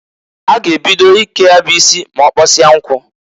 A g' ebido ike ya bụ isi m'ọkpọsia nkụ.